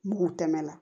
Mugu tɛmɛ na